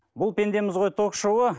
бұл пендеміз ғой ток шоуы